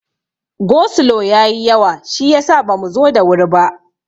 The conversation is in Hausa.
Go slo ya yi yawa shiyasa bamu zo da wuri ba.